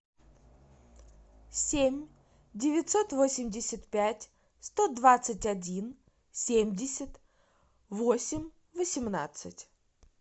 семь девятьсот восемьдесят пять сто двадцать один семьдесят восемь восемнадцать